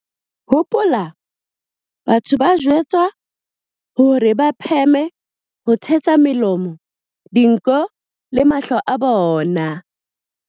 Hopola, batho ba jwetswa hore ba pheme ho thetsa melomo, dinko le mahlo a bona.